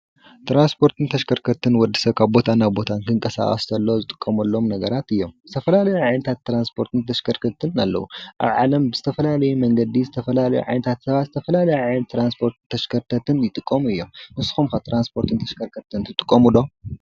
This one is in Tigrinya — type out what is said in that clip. ትራንስፖርትን ተሽከርከርቲን ንወዲሰብ ካብ ቦታ ናብ ቦታ ክንቀሳቀስ ከሎ ዝጥቀመሎም ነገራት እዮም፡፡ ዝተፈላዩ ዓይነታት ትራንስፖርትን ተሽከርከርቲን አለው፡፡ አብ ዓለም ብዝተፈላለየ መንገዲ ዝተፈላለዩ ዓይነታት ሰባት ዝተፈላለዩ ዓይነት ትራንስፖርትን ተሽከርከርቲን ይጥቀሙ እዮም፡፡ ንስኩም ከ ትራንስፖርት ተሽከርከርቲ ትጥቀሙ ዶ?